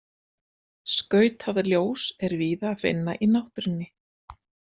Skautað ljós er víða að finna í náttúrunni.